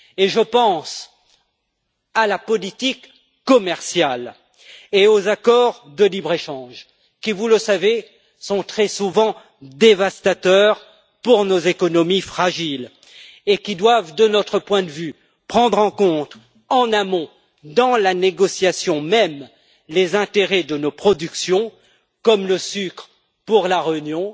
Je pense à la politique commerciale et aux accords de libre échange qui, vous le savez, sont très souvent dévastateurs pour nos économies fragiles et qui doivent, de notre point de vue, prendre en compte en amont, dans la négociation même, les intérêts de nos productions, comme le sucre pour La Réunion,